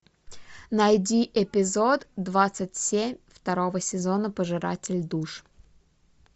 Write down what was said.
найди эпизод двадцать семь второго сезона пожиратель душ